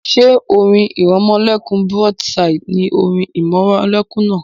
Ṣé orin ìrẹmọlẹ́kún broadside ni orin ìrẹmọlẹ́kún náà?